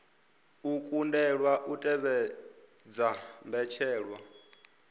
a kundelwa u tevhedza mbetshelwa